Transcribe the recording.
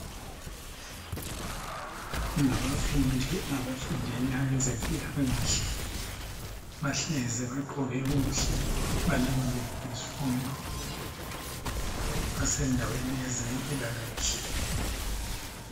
Abafundi abafundela ezempilakahle bahlezi bagqoke kuhle balindele izifundo basendaweni yezempilakahle.